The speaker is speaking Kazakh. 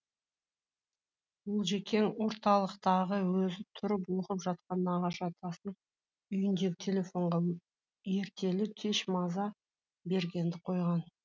олжекең орталықтағы өзі тұрып оқып жатқан нағашы атасының үйіндегі телефонға ертелі кеш маза бергенді қойған